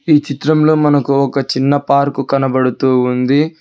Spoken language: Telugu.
ఈ చిత్రంలో మనకు ఒక చిన్న పార్కు కనబడుతూ ఉంది